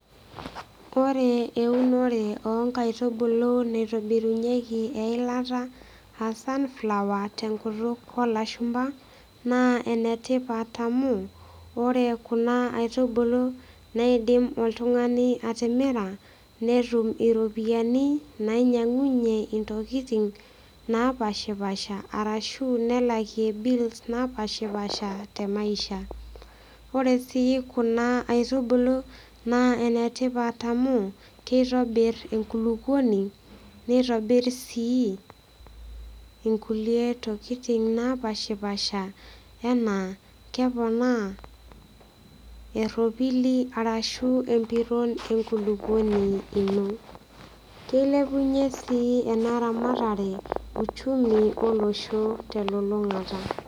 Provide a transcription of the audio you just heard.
Ore eunore onkaitubulu naitobirunyieki eilata aa sunflower tenkutuk olashumba nee enetipat amu ore kuna aitubulu neidim oltungani atimira netum iropiyiani nainyiangunyie ntokitin napashapasha arashu nelakie bills ontokitin napashapasha temaisha. Ore sii kuna aitubulu naa enetipat amu kitobir enkulukuoni nitobir sii inkulie tokitin napashapasha anaa keponaa eropili arashu empiron enkukukuoni ino . Kilepunyie sii enaramatare uchumi olosho telulungata